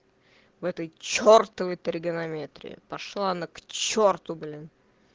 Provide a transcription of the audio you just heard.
в этой чертовой тригонометрии пошла она к черту блин